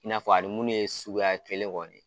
I n'a fɔ a ni munnu ye sukuya kelen kɔni ye.